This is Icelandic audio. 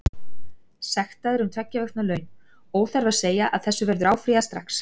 Sektaður um tveggja vikna laun, óþarfi að segja að þessu verður áfrýjað strax.